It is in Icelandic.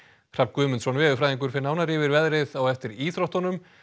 Hrafn Guðmundsson veðurfræðingur fer nánar yfir veðrið eftir íþróttir